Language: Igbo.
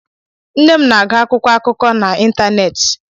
Nne m na-agụ akwụkwọ akụkọ n'ịntanetị.